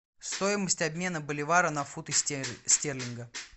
стоимость обмена боливара на фунты стерлингов